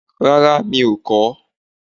Rárá mi ò kọ.